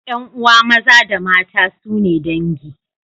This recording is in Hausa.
Yan'uwa maza da mata sune dangi.